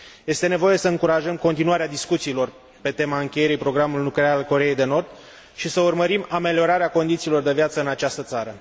Este nevoie să încurajăm continuarea discuțiilor pe tema încheierii programului nuclear al Coreei de Nord și să urmărim ameliorarea condițiilor de viață în această țară.